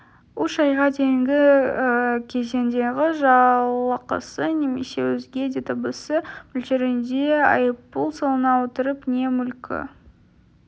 үш айға дейінгі кезеңдегі жалақысы немесе өзге де табысы мөлшерінде айыппұл салына отырып не мүлкі